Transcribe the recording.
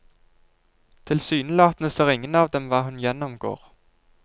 Tilsynelatende ser ingen av dem hva hun gjennomgår.